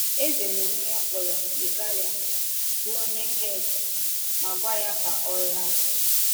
Eze n’onwe ya kpọrọ Yùráyà bụ́ onye Hẹ́t, ma gwa ya ka ọ lāa.